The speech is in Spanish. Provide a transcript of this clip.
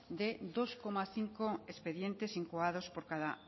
de dos coma cinco expedientes incoados por cada